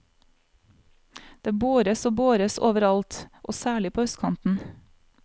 Det bores og bores, overalt, og særlig på østkanten.